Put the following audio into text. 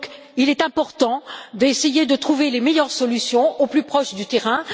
Il est donc important d'essayer de trouver les meilleures solutions au plus près du terrain.